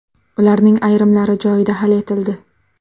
Ularning ayrimlari joyida hal etildi.